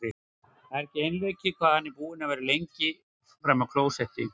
Það er ekki einleikið hvað hann er búinn að vera lengi frammi á klósetti!